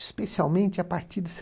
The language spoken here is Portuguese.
Especialmente a partir de